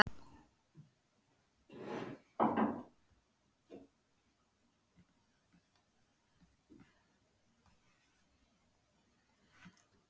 Þú ert alltaf jafn léttur!